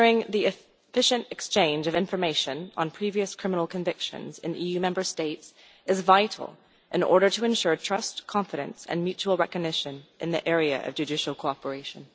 The efficient exchange of information on previous criminal convictions in the EU Member States is vital, in order to ensure trust, confidence and mutual recognition in the area of judicial cooperation.